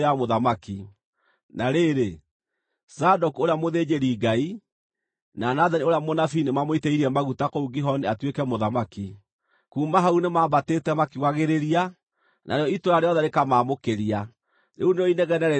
na rĩrĩ, Zadoku ũrĩa mũthĩnjĩri-Ngai, na Nathani ũrĩa mũnabii nĩmamũitĩrĩirie maguta kũu Gihoni atuĩke mũthamaki. Kuuma hau nĩmambatĩte makiugagĩrĩria, narĩo itũũra rĩothe rĩkamaamũkĩria. Rĩu nĩrĩo inegene rĩrĩa mũraigua.